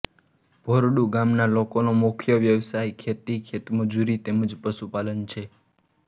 ભોરડુ ગામના લોકોનો મુખ્ય વ્યવસાય ખેતી ખેતમજૂરી તેમ જ પશુપાલન છે